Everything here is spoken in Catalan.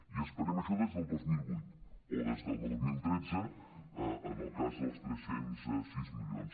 i esperem això des del dos mil vuit o des del dos mil tretze en el cas dels tres cents i sis milions